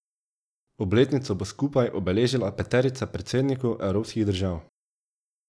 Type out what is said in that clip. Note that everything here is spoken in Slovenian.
Obletnico bo skupaj obeležila peterica predsednikov evropskih držav.